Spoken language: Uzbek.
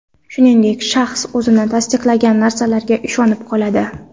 Shuningdek, shaxs o‘zi tasdiqlagan narsalarga ishonib qoladi.